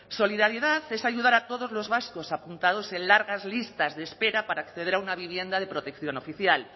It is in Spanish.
solidaridad es ayudar a todos los vascos apuntados en largas listas de espera para acceder a una vivienda de protección oficial